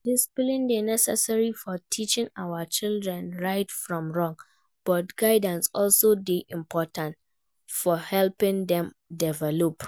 Discipline dey necessary for teaching our children right from wrong, but guidance also dey important for helping dem develop.